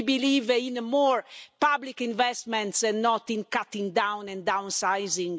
We believe in more public investments and not in cutting down and downsizing.